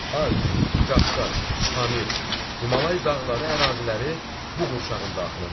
Alp, Qafqaz, Pamir, Himalay dağları əraziləri bu qurşağın daxilindədir.